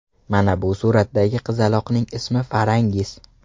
Mana bu suratdagi qizaloqning ismi Farangiz.